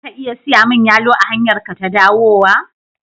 Za ka iya siya mini yalo a hanyarka ta dawowa?